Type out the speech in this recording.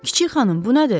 Kiçik xanım, bu nədir?